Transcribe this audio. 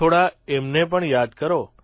થોડા એમને પણ યાદ કરો